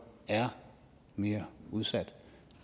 er mere udsatte